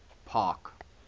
park